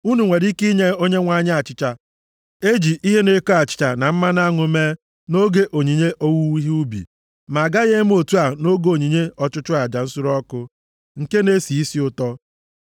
Unu nwere ike nye Onyenwe anyị achịcha e ji ihe na-eko achịcha na mmanụ aṅụ mee nʼoge onyinye owuwe ihe ubi, ma a gaghị eme otu a nʼoge onyinye ọchụchụ aja nsure ọkụ, nke na-esi isi ụtọ.